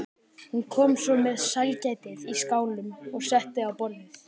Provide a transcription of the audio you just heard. Hún kom svo með sælgætið í skálum og setti á borðið.